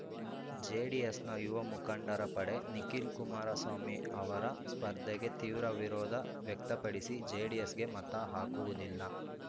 ಜೆಡಿಎಸ್‌ನ ಯುವ ಮುಖಂಡರ ಪಡೆ ನಿಖಿಲ್ ಕುಮಾರಸ್ವಾಮಿ ಅವರ ಸ್ಪರ್ಧೆಗೆ ತೀವ್ರ ವಿರೋಧ ವ್ಯಕ್ತಪಡಿಸಿ ಜೆಡಿಎಸ್‌ಗೆ ಮತ ಹಾಕುವುದಿಲ್ಲ